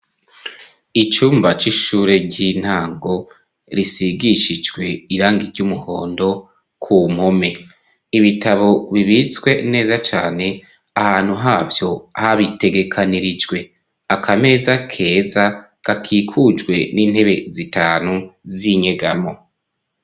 Icumba c'ishure ry'intango, risigishijwe irangi ry'umuhondo, ku mpome. Ibitabo bibitswe neza cane, ahantu havyo habitegekanirijwe. Akameza keza gakikujwe n'intebe zitanu z'inyegamwo.